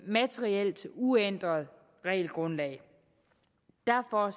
materielt uændret regelgrundlag derfor